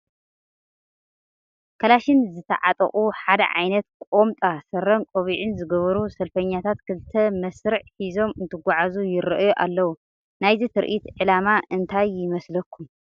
ከላሽን ዝተዓጠቑ ሓደ ዓይነት ቁምጣ ስረን ቆቡዕን ዝገበሩ ሰልፈኛታት ክልተ መስርዕ ሒዞም እንትጓዓዙ ይርአዩ ኣለዉ፡፡ ናይዚ ትርኢት ዕላማ እንታይ ይመስለኩም?